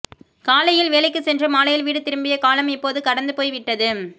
காலையில் வேலைக்குச் சென்று மாலையில் வீடு திரும்பிய காலம் இப்போது கடந்து போய்விட்டது